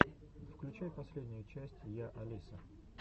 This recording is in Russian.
включай последнюю часть я алиса